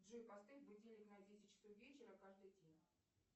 джой поставь будильник на десять часов вечера каждый день